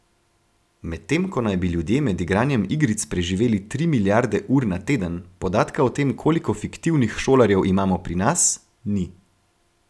Medtem ko naj bi ljudje med igranjem igric preživeli tri milijarde ur na teden, podatka o tem, koliko fiktivnih šolarjev imamo pri nas, ni.